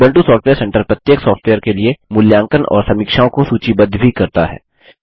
Ubuntu software centre प्रत्येक software के लिए मूल्यांकन और समीक्षाओं को सूचीबद्ध भी करता है